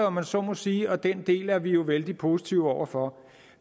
om man så må sige og den del er vi jo vældig positive over for